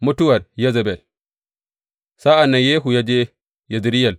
Mutuwar Yezebel Sa’an nan Yehu ya je Yezireyel.